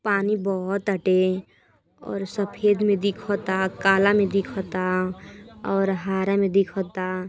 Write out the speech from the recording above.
पानी बहताटे और सफेद में दिखता काला में दिखता और हरा में दिखता।